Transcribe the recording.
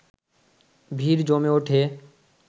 ভিড় জমে উঠে